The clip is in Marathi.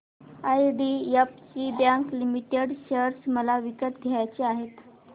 आयडीएफसी बँक लिमिटेड शेअर मला विकत घ्यायचे आहेत